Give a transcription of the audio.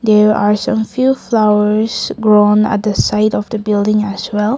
there are some few flowers grown at the side of the building as well.